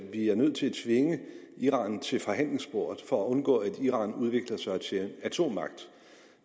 nødt til at tvinge iran til forhandlingsbordet for at undgå at iran udvikler sig til en atommagt